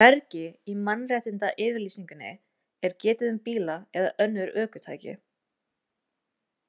Hvergi í Mannréttindayfirlýsingunni er getið um bíla eða önnur ökutæki.